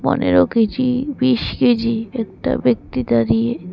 পনেরো কেজি বিশ কেজি একটা ব্যক্তি দাঁড়িয়ে।